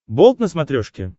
болт на смотрешке